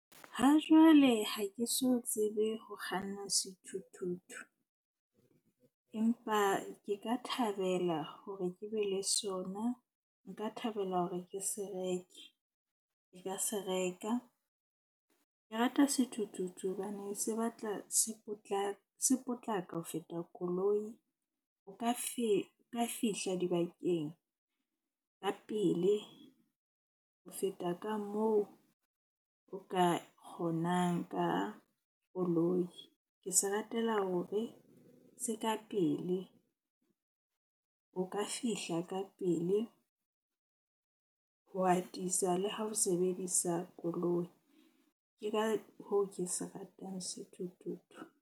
Ha jwale ha ke so tsebe ho kganna sethuthuthu, empa ke ka thabela hore ke be le sona. Nka thabela hore ke se reke, ke ka se reka. Ke rata sethuthuthu hobane se batla se se potlaka ho feta koloi. O ka o ka fihla dibakeng ka pele ho feta ka moo o ka kgonang ka koloi. Ke se ratela hore se ka pele. O ka fihla ka pele ho atisa le ha o sebedisa koloi. Ke ka hoo ke se ratang sethuthuthu.